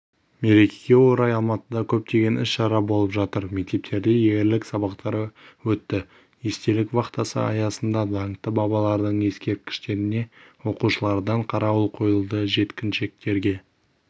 мерекеге орай алматыда көптеген іс-шара болып жатыр мектептерде ерлік сабақтары өтті естелік вахтасы аясында даңқты бабалардың ескерткіштеріне оқушылардан қарауыл қойылды жеткіншектерге